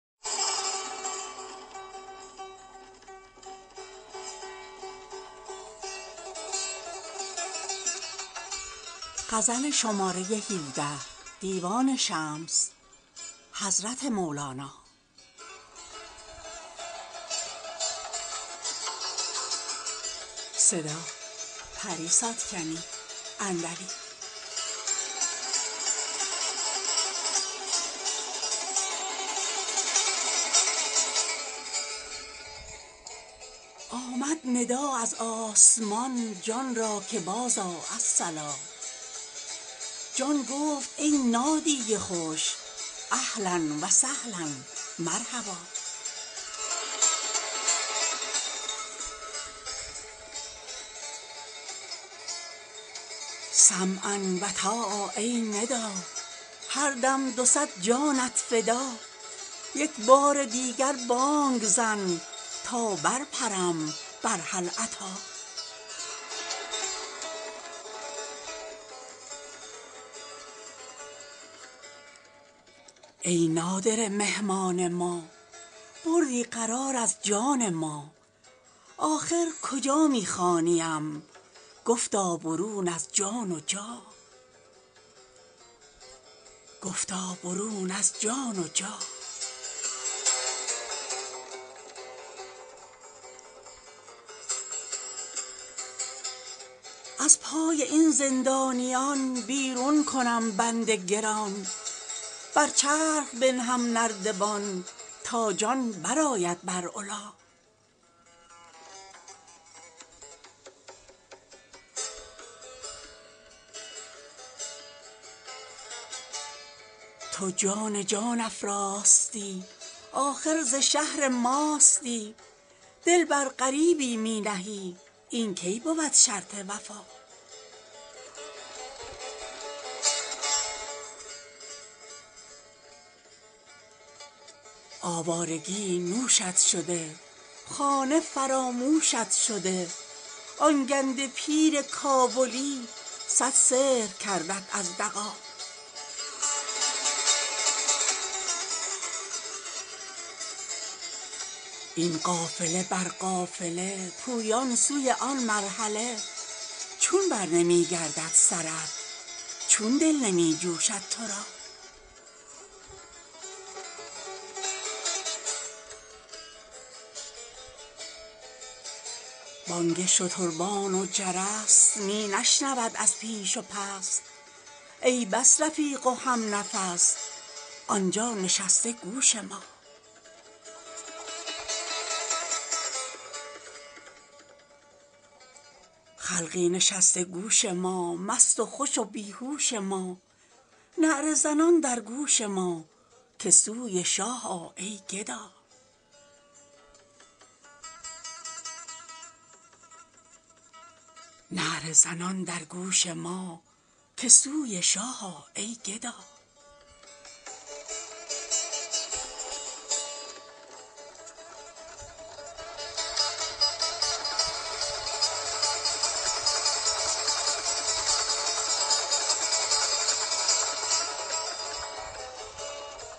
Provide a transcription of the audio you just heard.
آمد ندا از آسمان جان را که بازآ الصلا جان گفت ای نادی خوش اهلا و سهلا مرحبا سمعا و طاعه ای ندا هر دم دو صد جانت فدا یک بار دیگر بانگ زن تا برپرم بر هل اتی ای نادره مهمان ما بردی قرار از جان ما آخر کجا می خوانیم گفتا برون از جان و جا از پای این زندانیان بیرون کنم بند گران بر چرخ بنهم نردبان تا جان برآید بر علا تو جان جان افزاستی آخر ز شهر ماستی دل بر غریبی می نهی این کی بود شرط وفا آوارگی نوشت شده خانه فراموشت شده آن گنده پیر کابلی صد سحر کردت از دغا این قافله بر قافله پویان سوی آن مرحله چون برنمی گردد سرت چون دل نمی جوشد تو را بانگ شتربان و جرس می نشنود از پیش و پس ای بس رفیق و همنفس آن جا نشسته گوش ما خلقی نشسته گوش ما مست و خوش و بی هوش ما نعره زنان در گوش ما که سوی شاه آ ای گدا